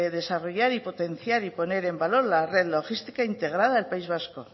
desarrollar y potenciar y poner en valor la red logística integrada al país vasco